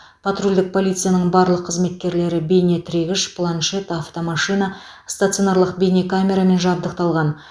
патрульдік полицияның барлық қызметкерлері бейнетіркегіш планшет автомашина стационарлық бейнекамерамен жабдықталған